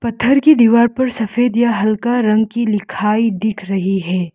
इधर की दीवार पर सफेद या हल्का रंग की लिखाई दिख रही है।